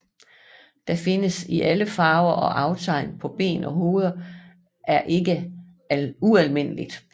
Den findes i alle farver og aftegn på ben og hoved er ikke ualmindeligt